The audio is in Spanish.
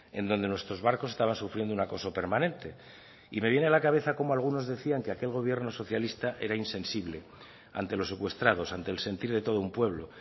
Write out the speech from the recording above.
en donde nuestros barcos estaban sufriendo un acoso permanente y me viene a la cabeza como algunos decían que aquel gobierno socialista era insensible ante los secuestrados ante el sentir de todo un pueblo